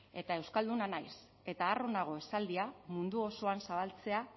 eta euskalduna naiz eta harro nago esaldia mundu osoan zabaltzea